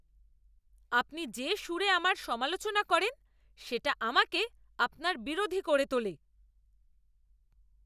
আপনি যে সুরে আমার সমালোচনা করেন সেটা আমাকে আপনার বিরোধী করে তোলে!